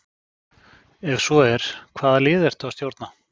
Ef svo er, hvaða liði ertu að stjórna?